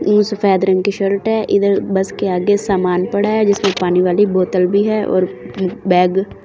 सफेद रंग की शर्ट है इधर बस के आगे समान पड़ा है जिसमें पानी वाली बोतल भी है और बैग ।